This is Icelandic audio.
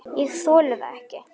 Ég þoli það ekki,